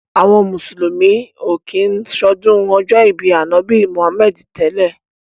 Àwọn mùsùlùmí ò kí ń ṣọdún ọjọ́ ìbí Ànábì Muhammadu tẹ́lẹ̀.